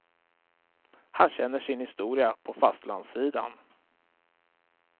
Han känner sin historia på fastlandssidan.